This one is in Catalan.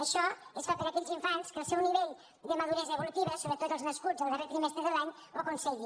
això es fa per a aquells infants en què el seu nivell de maduresa evolutiva sobretot els nascuts el darrer trimestre de l’any ho aconselli